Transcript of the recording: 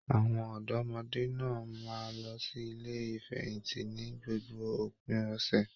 Àwọn ọdọmọde náà máa n lọ sí ilé ìfẹ̀yíntì ní gbogbo òpin ọsẹ.